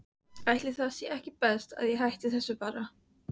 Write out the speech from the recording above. Til að búa við þig þar.